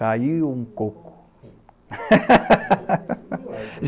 Caiu um coco.